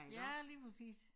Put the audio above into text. Ja lige præcis